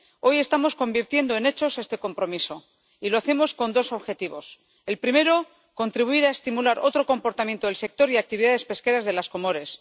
Hoy estamos convirtiendo en hechos este compromiso y lo hacemos con dos objetivos el primero, contribuir a estimular otro comportamiento del sector y las actividades pesqueras de las Comoras